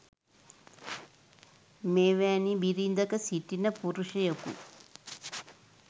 මෙවැනි බිරිඳක සිටින පුරුෂයෙකු